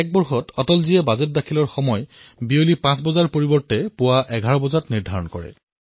২০০১ চনত অটলজীয়ে বাজেট প্ৰস্তুত কৰাৰ সময় সন্ধিয়া ৫ বজাৰ সলনি পুৱা ১১ বজা কৰিলে